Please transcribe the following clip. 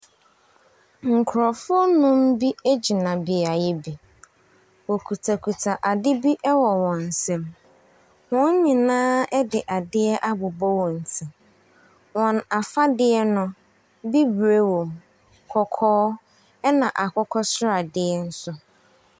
Nkurɔfoɔ nnum bi gyina beaeɛ bi. Wɔkutakuta ade bi wɔ wɔn nsam. Wɔn nyinaa de adeɛ abobɔ wɔn tim. Wɔn afadeɛ no, bibire wom, kɔkɔɔ, ɛnna akokɔ sradeɛ nso.